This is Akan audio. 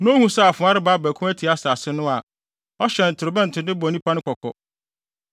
na ohu sɛ afoa reba abɛko atia asase no a, ɔhyɛn torobɛnto de bɔ nnipa no kɔkɔ.